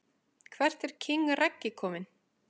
Hvert er king Raggi komin??